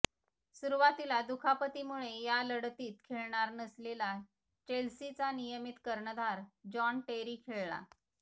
सुरुवातीला दुखापतीमुळे या लढतीत खेळणार नसलेला चेल्सीचा नियमित कर्णधार जॉन टेरी खेळला